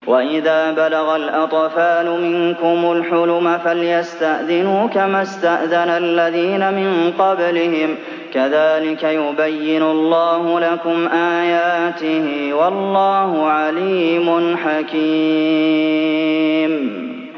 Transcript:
وَإِذَا بَلَغَ الْأَطْفَالُ مِنكُمُ الْحُلُمَ فَلْيَسْتَأْذِنُوا كَمَا اسْتَأْذَنَ الَّذِينَ مِن قَبْلِهِمْ ۚ كَذَٰلِكَ يُبَيِّنُ اللَّهُ لَكُمْ آيَاتِهِ ۗ وَاللَّهُ عَلِيمٌ حَكِيمٌ